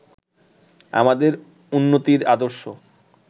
আমাদের উন্নতির আদর্শ